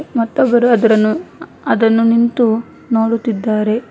ಮತ್ತೊಬ್ಬರು ಅದರನ್ನು ಅದನ್ನು ನಿಂತು ನೋಡುತ್ತಿದ್ದಾರೆ.